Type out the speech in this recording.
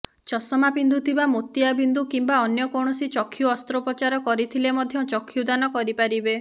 ଚଷମା ପିନ୍ଧୁଥିବା ମୋତିଆ ବିନ୍ଦୁ କିମ୍ବା ଅନ୍ୟକୌଣସି ଚକ୍ଷୁ ଅସ୍ତ୍ରୋପଚାର କରିଥିଲେ ମଧ୍ୟ ଚକ୍ଷୁଦାନ କରିପାରିବେ